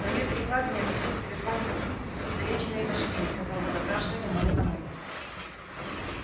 на её перекладине очутился верхом изувеченный башкирец которого допрашивали мы накануне